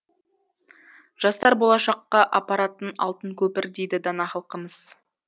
жастар болашаққа апаратын алтын көпір дейді дана халқымыз